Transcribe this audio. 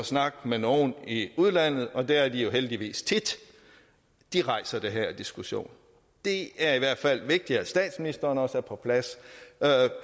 snakke med nogen i udlandet og det er de jo heldigvis tit rejser den her diskussion det er i hvert fald vigtigt at statsministeren også er på plads